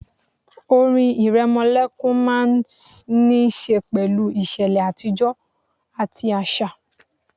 Orin ìrẹmọlẹ́kún máà ń ní ṣe pẹ̀lú ìṣẹ̀lẹ̀ àtijọ́ àbí àṣà